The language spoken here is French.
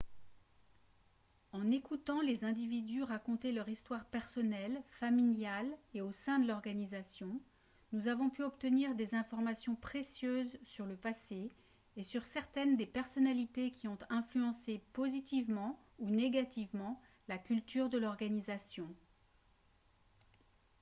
en écoutant les individus raconter leur histoire personnelle familiale et au sein de l'organisation nous avons pu obtenir des informations précieuses sur le passé et sur certaines des personnalités qui ont influencé positivement ou négativement la culture de l'organisation